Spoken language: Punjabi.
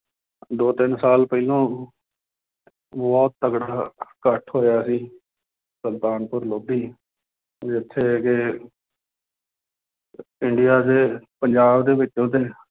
ਦੋ ਤਿੰਨ ਸਾਲ ਪਹਿਲੋਂ ਬਹੁਤ ਤਕੜਾ ਇਕੱਠ ਹੋਇਆ ਸੀ ਸੁਲਤਾਨਪੁਰ ਲੋਧੀ ਵੀ ਉੱਥੇ ਦੇ ਇੰਡੀਆ ਦੇ ਪੰਜਾਬ ਦੇ ਵਿੱਚ ਉਹਦੇ